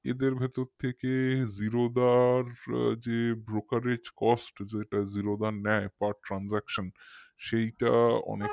এদের ভেতর থেকে Zerodha র যে brokerge cost যেটা zero দা নেয় per transaction সেইটা অনেক